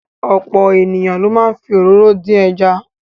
Ọ̀pọ̀ ènìyàn ló máa ń fi òróró dín ẹja.